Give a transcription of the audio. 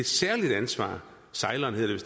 særligt ansvar ceylon hedder